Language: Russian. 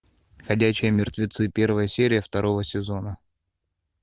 ходячие мертвецы первая серия второго сезона